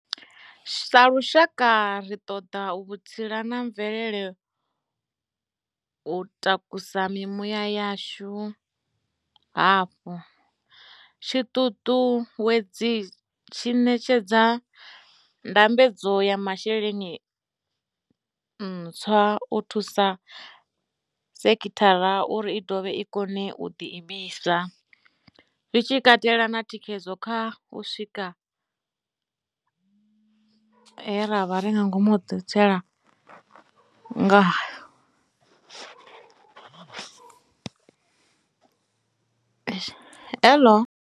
Sa lushaka, ri ṱoḓa vhutsila na mvelele u takusa mimuya yashu hafhu, tshiṱutuwedzi tshi ṋetshedza ndambedzo ya masheleni ntswa u thusa sekhithara uri i dovhe i kone u ḓiimisa, zwi tshi katela na thikhedzo kha u sikwa ha zwi re ngomu ha didzhithala.